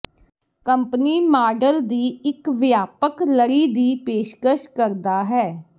company model ਦੀ ਇੱਕ ਵਿਆਪਕ ਲੜੀ ਦੀ ਪੇਸ਼ਕਸ਼ ਕਰਦਾ ਹੈ